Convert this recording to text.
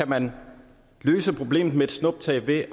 man kan løse problemet med et snuptag ved at